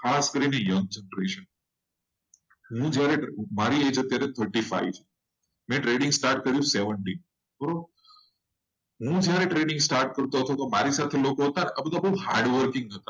ખાસ કાર્યમાં મારી એ જ જ્યારે પત્રીસ નો છું. ને trading start કર્યું. સત્તર હું start કર્યો હતો ત્યારે મારી જોડે hard working